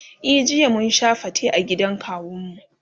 e jiya mun Sha fate a gidan kawun mu.